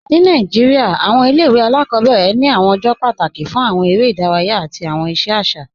Ni Nàìjíríà, awọn ilẹ̀-ìwé aláàkọbẹ̀rẹ ni awọn ọjọ́ pátákì fún awọn èrè idáràyà àti awọn iṣẹ aṣa.